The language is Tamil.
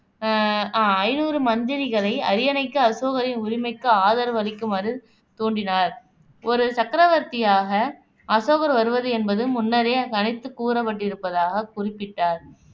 ஆஹ் அஹ் ஐந்நூறு மந்திரிகளை அரியணைக்கு அசோகரின் உரிமைக்கு ஆதரவு அளிக்குமாறு தூண்டினார் ஒரு சக்கரவர்த்தியாக அசோகர் வருவது என்பது முன்னரே கணித்துக் கூறப்பட்டிருப்பதாகக் குறிப்பிட்டார்